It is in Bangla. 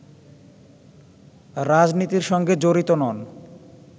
রাজনীতির সঙ্গে জড়ি নন